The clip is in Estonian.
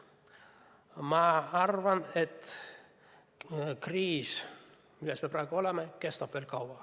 Ma arvan, et kriis, milles me praegu oleme, kestab veel kaua.